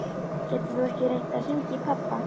Getur þú ekki reynt að hringja í pabba?